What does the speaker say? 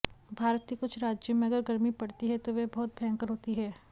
भारत के कुछ राज्यों में अगर गर्मी पड़ती है तो वह बहुत भयंकर होती है